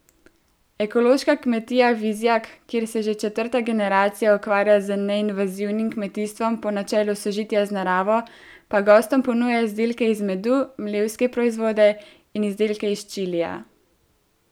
Ekološka kmetija Vizjak, kjer se že četrta generacija ukvarja z neinvazivnim kmetijstvom po načelu sožitja z naravo, pa gostom ponuja izdelke iz medu, mlevske proizvode in izdelke iz čilija.